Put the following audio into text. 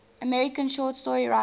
american short story writers